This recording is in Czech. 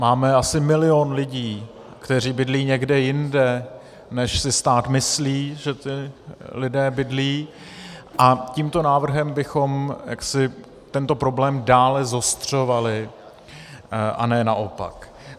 Máme asi milion lidí, kteří bydlí někde jinde, než si stát myslí, že ti lidé bydlí, a tímto návrhem bychom jaksi tento problém dále zostřovali a ne naopak.